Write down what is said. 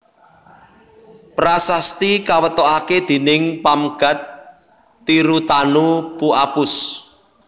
Prasasti kawetokaké déning Pamgat Tirutanu Pu Apus